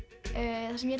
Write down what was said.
það sem ég